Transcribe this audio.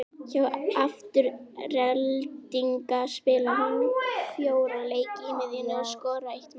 Hjá Aftureldingu spilaði hún fjóra leiki á miðjunni og skoraði eitt mark.